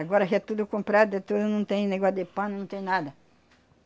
Agora já é tudo comprado, é tudo não tem negócio de pano, não tem nada.